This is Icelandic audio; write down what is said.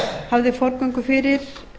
hafði forgöngu fyrir